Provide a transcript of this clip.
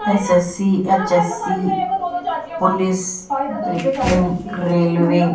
SSC H S C police रे की railway --